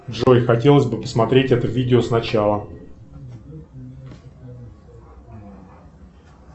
джой хотелось бы посмотреть это видео сначала